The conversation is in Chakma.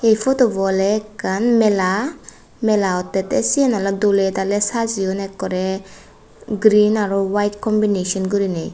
ei photubo oley ekkan mela mela ottey tey siyen oley doley daley sajeyon ekkorey green araw waet combineson gurinei.